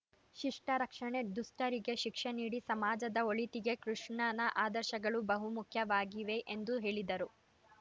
ಶಿಷ್ಟರಕ್ಷಣೆ ದುಷ್ಟರಿಗೆ ಶಿಕ್ಷೆ ನೀಡಿ ಸಮಾಜದ ಒಳಿತಿಗೆ ಕೃಷ್ಣನ ಆದರ್ಶಗಳು ಬಹು ಮುಖ್ಯವಾಗಿವೆ ಎಂದು ಹೇಳಿದರು